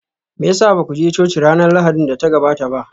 Me ya sa ba ku je coci ranar Lahadin da ta gabata ba?